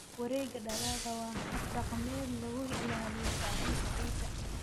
Wareega dalagga waa hab dhaqameed lagu ilaaliyo bacrinta ciidda.